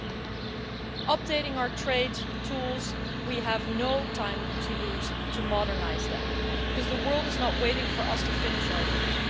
As we update our trade tools, we have no time to lose to modernise them because the world is not waiting for us to finish our work.